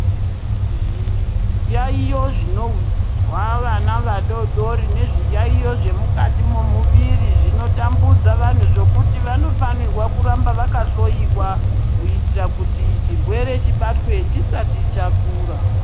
Zviyayiyo zvinozwa vana vadodori nezviyayiyo zvemukati memuviri zvinotambudza vantu zvekuti vanofanirwa kuramba vakahloyiwa kuitira kuti chirwere chibatwe chisati chakura.